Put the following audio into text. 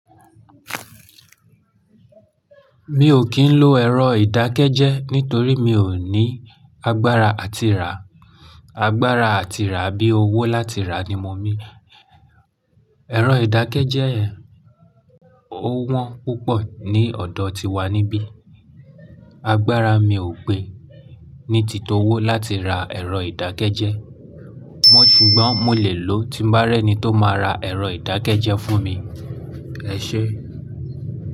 Mi ò kí ń lo ẹ̀rọ ìdákẹ́jẹ́ nítorí mi ò ní agbára àti rà. Agbára àti rà bí owó láti rà ni mean. Ẹ̀rọ ìdákẹ́jẹ́ yen ó wọ́n púpọ̀ ní ọ̀dọ̀ tiwa níbí. Agbára mi ò gbé ní tito owó láti ra ẹ̀rọ ìdákẹ́jẹ́. Mọ́ ṣùgbọ́n mo lè lò tí bá rẹ́ni tó máa ra ẹ̀rọ ìdákẹ́jẹ́ fún mi. Ẹ ṣé?